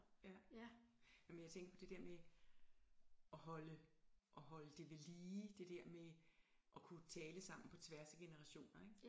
Ja jamen jeg tænkte det der med at holde at holde det ved lige det der med at kunne tale sammen på tværs af generationer ikke